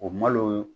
O malo